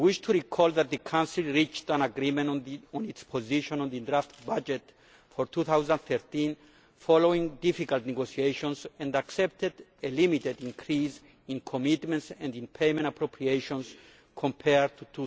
I wish to recall that the Council reached an agreement on its position on the draft budget for 2013, following difficult negotiations, and accepted a limited increase in commitments and payment appropriations compared to